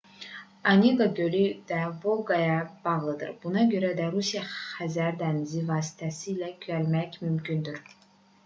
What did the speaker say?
oneqa gölü də volqaya bağlıdır buna görə də rusiyadan xəzər dənizi vasitəsilə gəlmək mümkündür